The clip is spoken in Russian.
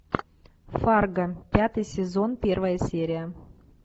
фарго пятый сезон первая серия